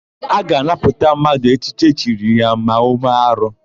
A ga-anapụ mmadụ echichi echiri ya ma ọ mee arụ.